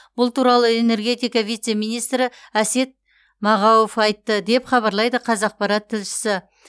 бұл туралы энергетика вице министрі әсет мағауов айтты деп хабарлайды қазақпарат тілшісі